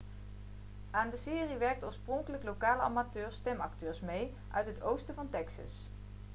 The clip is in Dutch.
aan de serie werkten oorspronkelijk lokale amateur-stemacteurs mee uit het oosten van texas